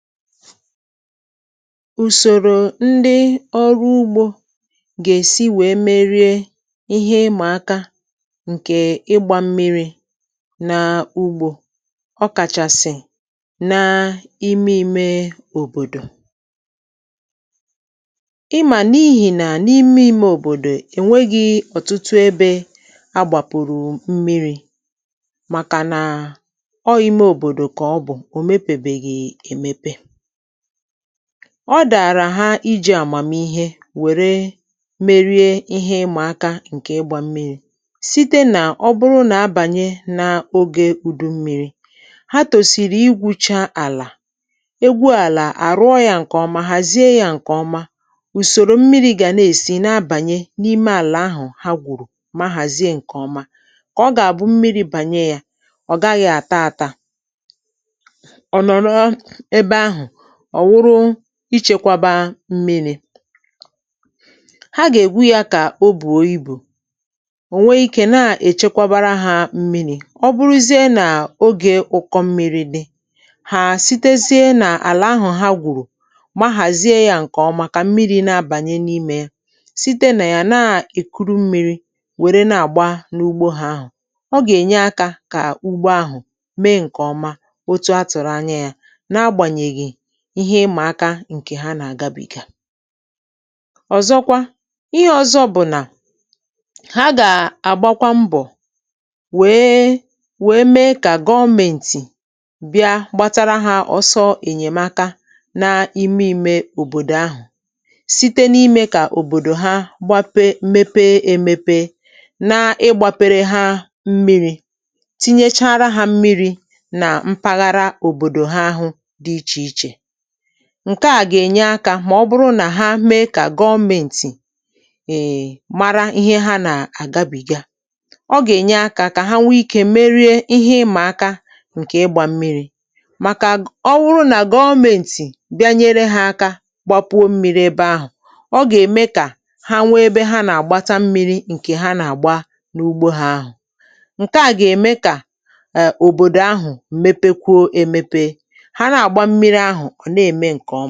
Usòrò ndị ọrụ ugbȯ gà-èsi wèe merie ihe ịmà aka ǹkè ịgbȧ mmiri̇ nà ugbȯ ọ kàchàsị̀ị̀ n’ime imė òbòdò ịmà n’ihì nà n’ime imė òbòdò ènweghị̇ ọ̀tụtụ ebe agbàpụ̀rụ̀ mmiri̇ màkà nà ọ ime obodo ka ọbụ omepebeghi emepe ọ dàrà ha iji̇ àmàmihe wère merie ihe ịmȧ aka ǹkè ịgbȧ mmiri̇ site nà ọ bụrụ nà abànyi̇ n’ogė udu mmiri̇ ha tòsìrì igwùcha àlà egwu àlà àrụọ yȧ ǹkè ọma hàzie yȧ ǹkè ọma ùsòrò mmiri̇ gànaèsi nà-abànyi n’ime àlà ahụ̀ ha gwùrù ma hàzie ǹkè ọma kà ọ gà-àbụ mmiri̇ bànyẹ yȧ ọ̀ gaghị̇ àta àta ọ nọrọ ebe ahụ ọ̀ wụrụ ichėkwaba mmi̇ri̇ ha gà-ègwu ya kà o bùo ibù ò nwee ikė na-èchekwabara hȧ mmi̇ri̇ ọ bụrụzie nà ogè ụkọ mmi̇ri̇ dị hà sitezie n’àlà ahụ̀ ha gùrù ma hàzie ya ǹkèọma kà mmiri̇ na-abànye n’imė ya site nà ya na-èkuru mmi̇ri̇ wère na-àgba n’ugbȯ ha ahụ̀ ọ gà-ènye akȧ kà ugbo ahụ̀ mee ǹkèọma otu a tụ̀rụ̀ anya ya na agbanyeghị ihe ịmà aka ǹkè ha nà-àgabìga ọ̀zọkwa ihe ọ̀zọ bụ̀ nà ha gà-àgbakwa mbọ̀ wèe wèe mee kà gọọmentì bịa gbatara hȧ ọsọ ènyèmaka n’ime imė òbòdò ahụ̀ site n’ime kà òbòdò ha gbape mmepe emepe n’ịgbàpere ha mmiri̇ tinyechara hȧ mmiri̇ nà mpaghara òbòdò ha ahụ̇ dị ichè ichè ǹkeà gà-ènye akȧ mà ọ bụrụ nà ha mee kà gọọmentì mara ihe ha nà-àgabìga ọ gà-ènye akȧ kà ha nwee ikė merie ihe ịmà aka ǹkè ịgbȧ mmiri̇ màkà ọ bụrụ nà gọọmentì bịa nyere hȧ aka gbapuo mmi̇ri bė ahụ̀ ọ gà-ème kà ha nwee ebe ha nà-àgbata mmi̇ri ǹkè ha nà-àgba n’ugbȯ ha ahụ̀ ǹkeà gà-ème kà òbòdò ahụ̀ mepekwuo emepe ha na agba mmiri ahụ ọ na eme ǹkẹ̀ ọ.